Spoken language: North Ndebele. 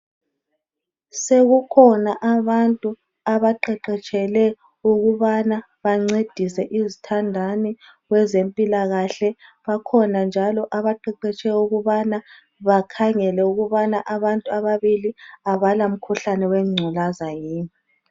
Sekukhona abantu abaqeqetshele ukubana bancedise izithandani kwezempilakahle, bakhona njalo abaqeqetshele ukubana bakhangele ukubana abantu ababili abala mkhuhlane wengculaza yini